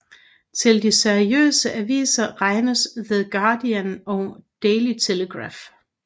Til de seriøse aviser regnes The Guardian og Daily Telegraph